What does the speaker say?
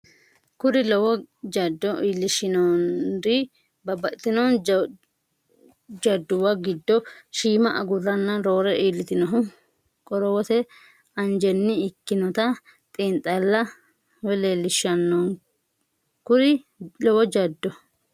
Kuri lowo jaddo iillishshonnori babbaxxitino jadduwa giddo shiima agurranna roore iillitannohu qorowote anjenni ikkinota xiinxallo leel- lishshanno Kuri lowo jaddo.